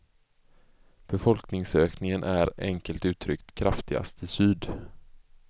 Befolkningsökningen är, enkelt uttryckt, kraftigast i syd.